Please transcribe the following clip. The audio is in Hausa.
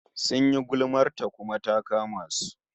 Sun yi gulmar ta, kuma ta kama su